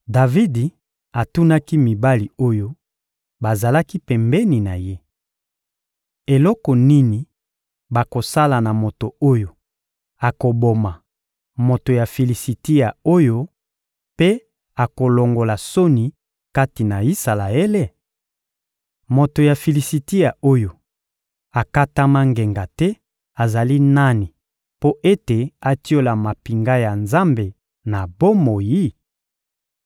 Davidi atunaki mibali oyo bazalaki pembeni na ye: — Eloko nini bakosala na moto oyo akoboma moto ya Filisitia oyo mpe akolongola soni kati na Isalaele? Moto ya Filisitia oyo akatama ngenga te azali nani mpo ete atiola mampinga ya Nzambe na bomoi?